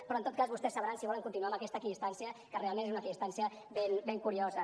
però en tot cas vostès sabran si volen continuar amb aquesta equidistància que realment és una equidistància ben curiosa